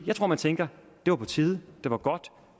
jeg tror man tænker det var på tide det var godt og